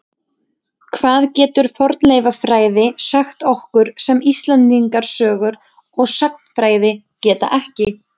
Hvað getur fornleifafræði sagt okkur sem Íslendingasögurnar og sagnfræðin geta ekki?